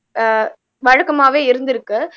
அஹ் வழக்கமாவே இருந்திருக்கு